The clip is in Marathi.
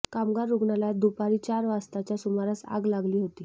कामगार रुग्णालयात दुपारी चार वाजताच्या सुमारास आग लागली होती